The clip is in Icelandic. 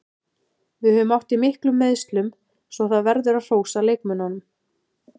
Við höfum átt í miklum meiðslum svo það verður að hrósa leikmönnunum.